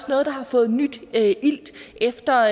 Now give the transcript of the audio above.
noget der har fået ny ilt efter